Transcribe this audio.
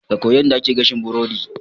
Ka koyi yadda ake gashin burodi